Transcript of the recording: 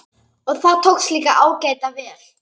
Og það tókst líka ágæta vel.